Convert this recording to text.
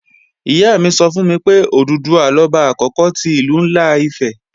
Ìyá mi sọ fún mi pé, Òdùduwà lọba àkókò ti Ìlú ńlá Ifẹ̀